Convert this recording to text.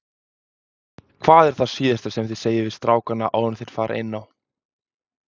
Hvað er það síðasta sem þið segið við strákana áður enn þeir fara inn á?